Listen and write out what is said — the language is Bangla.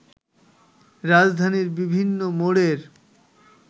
রাজধানীর বিভিন্ন মোড়ের